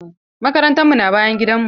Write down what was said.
Makarantan mu na bayan gidan mu.